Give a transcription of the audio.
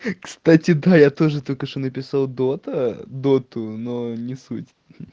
кстати да я тоже только что написал дота доту но не суть